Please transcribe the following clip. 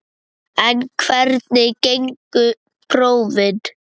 En hvernig gengu prófin?